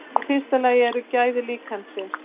Í fyrsta lagi eru gæði líkansins.